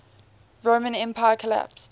roman empire collapsed